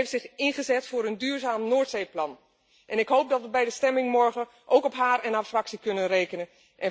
Zij heeft zich ingezet voor een duurzaam Noordzeeplan en ik hoop dat we bij de stemming morgen ook op haar en haar fractie kunnen rekenen.